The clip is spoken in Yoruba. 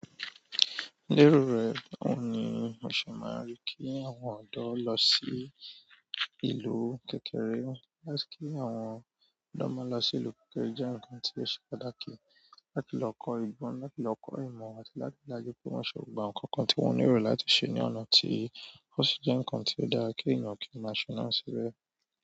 Lérò rẹ̀, báwo ni o ṣe máa rí kí àwọn ọ̀dọ́ lọ sí ìlú kékeré. Láti kí àwọn ọ̀dọ́ máa lọ sí ìlú kékeré jẹ́ ǹnkan tí ó ṣe pàtàkì. Láti lọ kọ́ ìgbọn, láti lọ kọ́ ìmọ̀ àti láti lá jẹ pé wọ́n ṣe gbogbo nǹkan kan tí wọ́n nílò láti ṣe ní ọ̀nà tí ó ṣi ǹnkan tí ó dára. Kí ènìyàn kí o maa ṣe náà síbẹ̀.